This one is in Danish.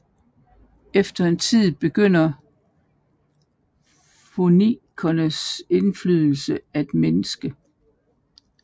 Efter en tid begyndte fønikernes indflydelse at mindske